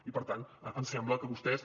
i per tant ens sembla que vostès